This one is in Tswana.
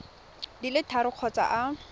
di le tharo kgotsa a